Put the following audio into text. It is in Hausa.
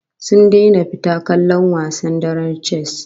Sun daina fita kallon wasan darar chess